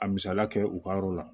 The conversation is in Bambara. A misaliya kɛ u ka yɔrɔ la